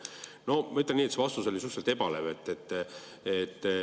No ma ütlen nii, et see vastus oli suhteliselt ebalev.